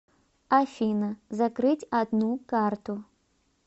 афина закрыть одну карту